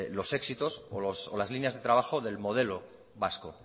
los éxitos o las líneas de trabajo del modelo vasco